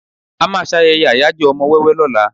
À máà ń ṣayẹyẹ ayajo ọmọ wẹ́wẹ́ lóla.